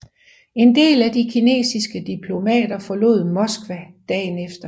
En del af de kinesiske diplomater forlod Moskva dagen efter